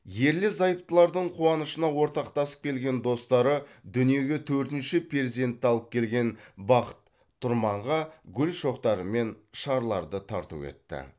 ерлі зайыптылардың қуанышына ортақтасып келген достары дүниеге төртінші перзентті алып келген бақыт тұрманға гүл шоқтары мен шарларды тарту етті